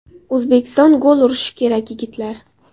O‘zbekiston gol urish kerak, yigitlar!